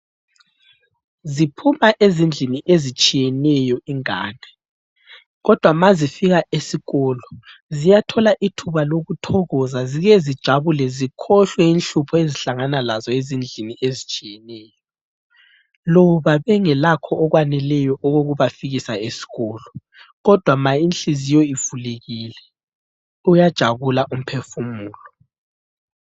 Ziphuma ezindlini ezitshiyeneyo ingane ,kodwa ma zifika esikolo ziyathola ithuba lokuthokoza zike zijabule zikhohlwe inhlupho ezihlangana lazo ezindlini ezitshiyeneyo loba bengelakho okwaneleyo okokubafikisa esikolo ,kodwa ma inhliziyo ivulekile uyajabula umphefumulo.